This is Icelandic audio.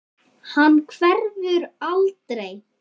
Hann hverfur aldrei.